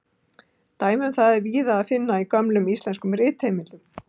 Dæmi um það er víða að finna í gömlum íslenskum ritheimildum.